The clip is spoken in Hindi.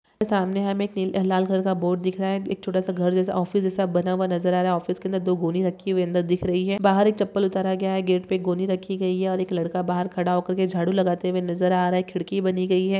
सामने हमे एक लाल कलर का बोर्ड दिख रहा हे एक छोटासा घर जयसा ऑफिस जयसा बना हुआ नजर आ रहा हे ऑफिस के अंदर दो गोनी राखी हुये अंदर दिख रही हे बाहार एक चप्पल उतार गया हे गेट पे एक गोनी राखी गई हे और एक लड़का बाहार खाडा होकर के झाडु लागाते हुए नाजार आ रहा हे खिडकी बनी गयी हे।